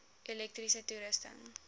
elektriese toerusting